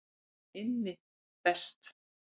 Hann er Immi best.